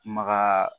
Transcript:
Maka